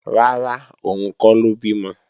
Rárá, òun kọ́ ló bímọ